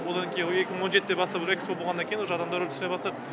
одан кейін екі мың он жетіден бастап экспо болғаннан кейін уже адамдар уже түсіне бастады